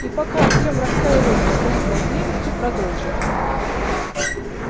и пока артём раскаивался в своей болтливости продолжил